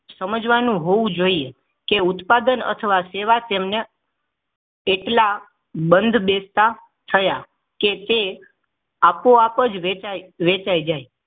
સમજવાનું હોવું જોઈએ કે ઉત્પાદન અથવા સેવા તેમણે કેટલા બંધબેસતા થયા કે તે આપોઆપ જ વેચાઈ વેચાઈ જાય